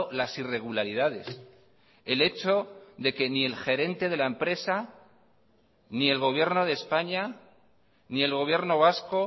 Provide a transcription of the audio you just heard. las irregularidades el hecho de que ni el gerente de la empresa ni el gobierno de españa ni el gobierno vasco